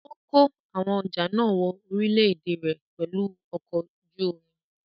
Ó kó àwọn ọjà náà wọ orílé-èdè rẹ̀ pẹ̀lú ọkọ̀ ojú omi.